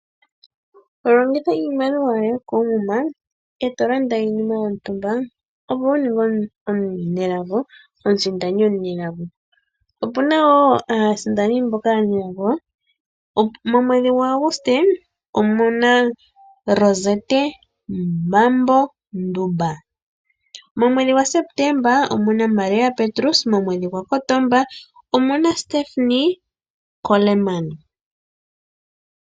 Longitha iimaliwa yoye koomuma e to landa iinima yontumba opo wu ninge omusindani omunelago, opuna wo aasindani mboka aanelago. Momweedhi gwa Aguste omuna Rozette Mambo Ndumba. Momweedhi gwa Sepetemba omuna Maria Petrus. Momweedhi gwa Kotomba omuna Stephanie Coleman.